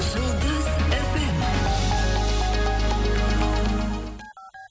жұлдыз эф эм